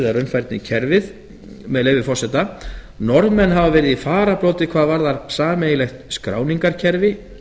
raunfærnimatið eða raunfærnikerfið með leyfi forseta norðmenn hafa verið í fararbroddi hvað varðar sameiginlegt skráningarkerfi